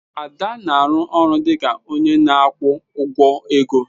Ada na-arụ ọrụ dị ka onye na-akwụ ụgwọ ego.